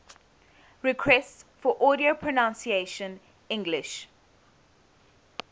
requests for audio pronunciation english